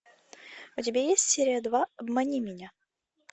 у тебя есть серия два обмани меня